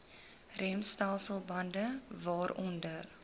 remstelsel bande waaronder